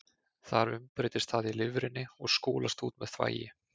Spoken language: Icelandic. Þar umbreytist það í lifrinni og skolast út með þvagi.